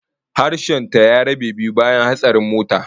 Harshen ta ya rabe biyu bayan hatsarin motar